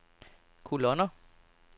kolonner